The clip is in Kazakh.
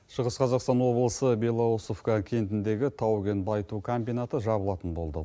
шығыс қазақстан облысы белоусовка кентіндегі тау кен байыту комбинаты жабылатын болды